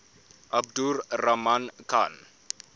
abdur rahman khan